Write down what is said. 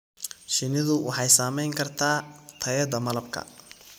Shinnidu waxay saamayn kartaa tayada malabka.